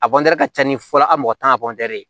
A ka ca ni fɔlɔ a mɔgɔ tan ka ye